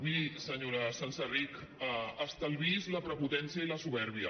miri senyora senserrich estalviï’s la prepotència i la supèrbia